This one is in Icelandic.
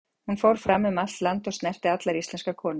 Hún fór fram um allt land, og snerti allar íslenskar konur.